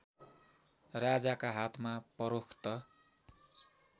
राजाका हात फरोख्त